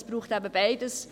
Es braucht eben beides: